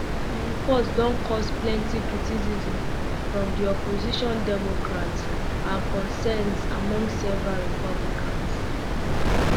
di um report don cause plenty criticism from di opposition democrats and concerns among several republicans